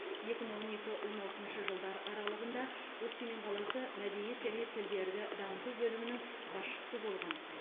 екі мың он екі он алтыншы жылдар аралығында өскемен қаласы мәдениет және тілдерді дамыту бөлімінің басшысы болған